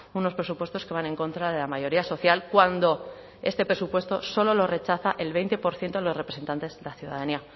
unos presupuestos que van en contra de la mayoría social cuando este presupuesto solo lo rechaza el veinte por ciento de los representantes de la ciudadanía